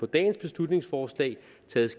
dagens beslutningsforslag taget